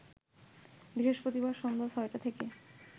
বৃহস্পতিবার সন্ধ্যা ৬টা থেকে